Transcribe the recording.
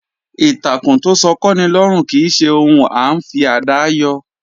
Ìtàkùn tó sọ kọ́'ni lọ́rùn kì í ṣe ohun à ńfi àdá yọ.